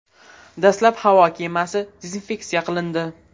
Dastlab havo kemasi dezinfeksiya qilindi.